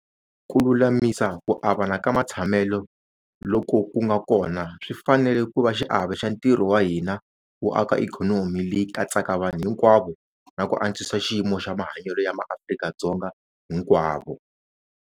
Ku lulamisa ku avana ka matshamelo loko ku nga kona swi fanele ku va xiave xa ntirho wa hina wo aka ikhonomi leyi katsaka vanhu hinkwavo na ku antswisa xiyimo xa mahanyelo ya MaAfrika-Dzonga hinkwavo.